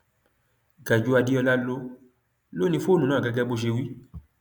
gajúú adeola ló ló ni fóònù náà gẹgẹ bó ṣe wí